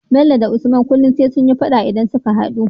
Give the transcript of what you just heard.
Bello da usman kullun sai sunyi faɗa idan suka hadu